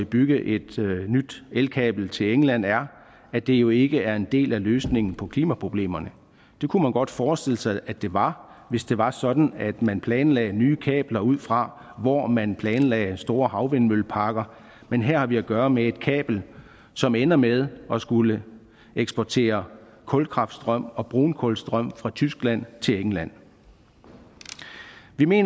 bygge et nyt elkabel til england er at det jo ikke er en del af løsningen på klimaproblemerne det kunne man godt forestille sig at det var hvis det var sådan at man planlagde nye kabler ud fra hvor man planlagde store havvindmølleparker men her har vi at gøre med et kabel som ender med at skulle eksportere kulkraftstrøm og brunkulstrøm fra tyskland til england vi mener